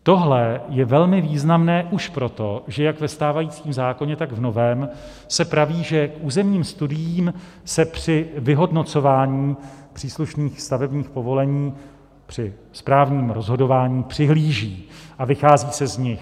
Tohle je velmi významné už proto, že jak ve stávajícím zákoně, tak v novém se praví, že k územním studiím se při vyhodnocování příslušných stavebních povolení, při správním rozhodování přihlíží a vychází se z nich.